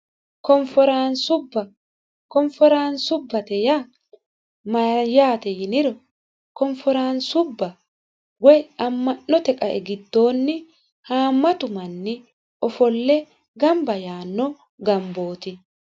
Konforaanisubba Konforaansubbate yaa mayiyaate yiniro konforaansubba woy amma'note qae diddoonni haammatu manni ofolle gamba yaanno gambooti